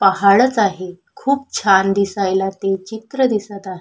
पहाडच आहे खूप छान दिसयाला ते चित्र दिसत आ--